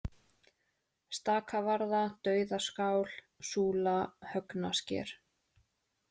Staka-Varða, Dauðaskál, Súla, Högnasker